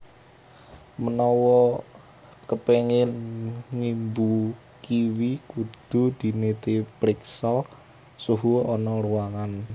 Menawa kepéngin ngimbu kiwi kudu dinitipriksa suhu ana ruwangan